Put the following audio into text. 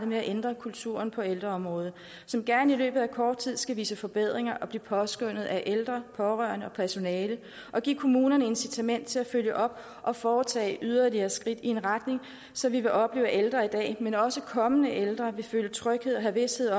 med at ændre kulturen på ældreområdet som gerne i løbet af kort tid skal vise forbedringer og blive påskønnet af ældre pårørende og personale og give kommunerne incitament til at følge op og foretage yderligere skridt i en retning så vi vil opleve at ældre i dag men også kommende ældre vil føle tryghed og have vished